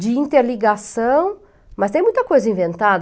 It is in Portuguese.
de interligação, mas tem muita coisa inventada.